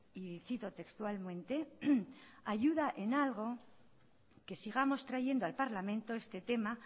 y cito textualmente si ayuda en algo que sigamos trayendo al parlamento este tema